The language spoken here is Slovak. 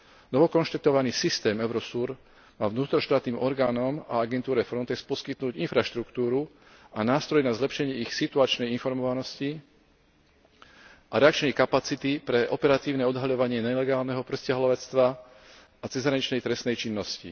Novo konštatovaný systém Eurosur má vnútroštátnym orgánom a agentúre Frontex poskytnúť infraštruktúru a nástroj na zlepšenie ich situačnej informovanosti a reakčnej kapacity pre operatívne odhaľovanie nelegálneho prisťahovalectva a cezhraničnej trestnej činnosti.